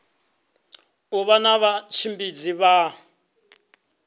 u vha na vhatshimbidzi vha